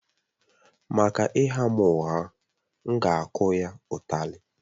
Maka ịgha m ụgha, m ga-akụ ya ụtali